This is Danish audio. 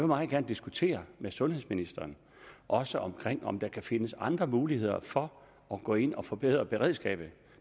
meget gerne diskutere med sundhedsministeren også om om der kan findes andre muligheder for at gå ind og forbedre beredskabet